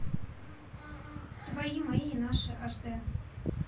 твои мои наши аш д